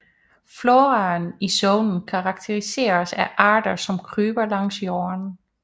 Floraen i zonen karakteriseres af arter som kryber langs jorden